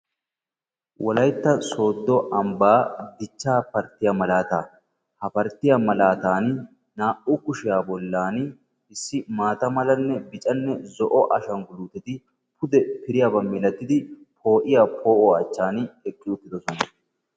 Wolaytta sooddo ambbaa dichchaa parttiya malaataa. Ha parttiya malaatan na"u kushiya bollan issi maata malanne bicanne zo'o ashangguluuteti pude piriyaba milatidi poo'iya poo'uwa achchan eqqi uttidosona.